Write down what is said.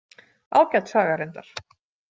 Ágæt saga reyndar.